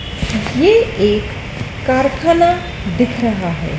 ये एक कारखाना दिख रहा है।